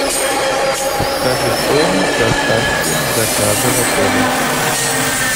подскажи стоимость доставки заказа в отеле